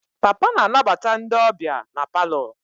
Papa na-anabata ndị ọbịa na palọ.